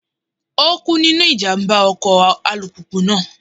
Ó kú nínú ìjàmbá ọkọ̀ alùpùpù náà.